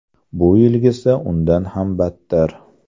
Bu yilgisi undan ham battar.